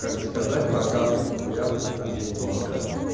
как бы сказать про капельки хуяпильки там денег можешь дать